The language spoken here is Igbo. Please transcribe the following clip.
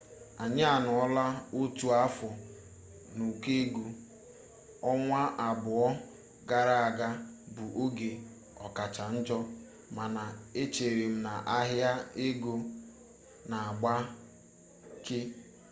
anyi anọọla otu afọ n'ụkọ ego ọnwa abụọ gara aga bụ oge ọkacha njo mana echerem na ahịa ego na-agbake